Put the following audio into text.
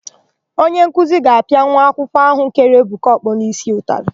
Onyenkuzi ga-apịa nwa akwụkwọ áhụ̀ kere Ebuka ọkpọ n'ísí ụtalị.